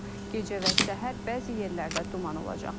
Gecə və səhər bəzi yerlərdə duman olacaq.